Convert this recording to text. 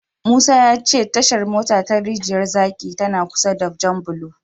Musa ya ce Tashar mota ta Rijiyar zaki tana kusa da Janbulo.